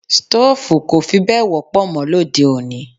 Stoofu kò fí bẹ wọ́pọ̀ mó lóde-òní.